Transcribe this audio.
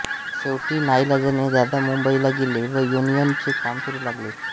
शेवटी नाइलाजाने दादा मुंबईला गेले व युनियन चे काम करू लागले